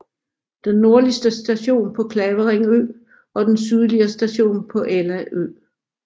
Den nordligste station på Clavering Ø og den sydligere station på Ella Ø